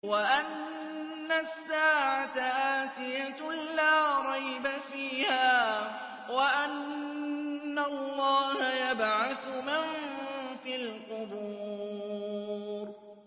وَأَنَّ السَّاعَةَ آتِيَةٌ لَّا رَيْبَ فِيهَا وَأَنَّ اللَّهَ يَبْعَثُ مَن فِي الْقُبُورِ